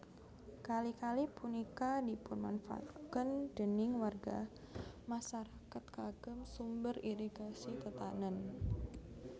Kali kali punika dipunmanfaataken déning warga masarakat kagem sumber irigasi tetanen